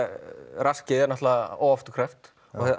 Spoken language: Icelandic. raskið er náttúrulega óafturkræft